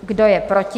Kdo je proti?